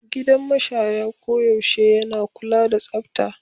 Gidan mashaya koyaushe yana kula da tsafta.